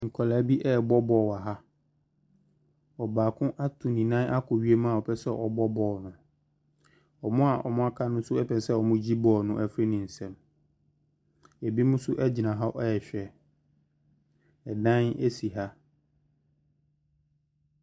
Nkwadaa bi rebɔ ball wɔ ha. Ɔbaako atu ne nan akɔ wiem a ɔpɛ sɛ ɔbɔ ball no. Wɔn a wɔaka no nso pɛ sɛ wɔgye ball no firi ne nsam. Binom nso gyina hɔ rehwɛ. Dan si ha.